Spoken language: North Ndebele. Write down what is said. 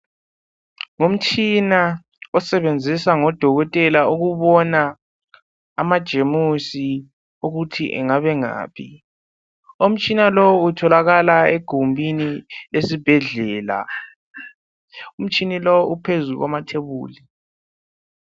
Umtshina osebenziswa ngodokotela ukubona amajemusi ukuthi angabe engaphi. Umtshina lowu utholakala egumbini lesibhedlela. Umtshina lowu uphezulu kwamathebuli.